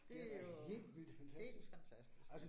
Det jo helt fantastisk